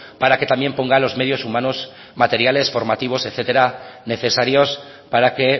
para que también ponga los medios humanos materiales formativos etcétera necesarios para que